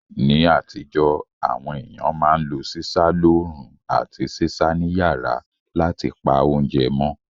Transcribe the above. Ní àtíjó, àwon ééyàn ma n lo sísá loorún àti sísá ni yàrá látipa ounje mó